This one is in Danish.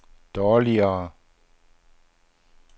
dårligere